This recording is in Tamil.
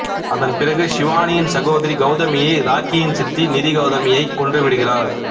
அதன் பிறகு சிவானியின் சகோதரி கௌதமியை ராக்கியின் சித்தி நிதி கௌதமியைக் கொன்றுவிடுகிறார்